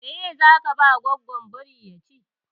Meye zaka ba goggon biri ya ci?